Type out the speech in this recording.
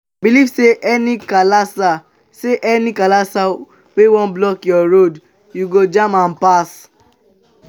belive say any kasala say any kasala wey wan block yur road yu go jam am pass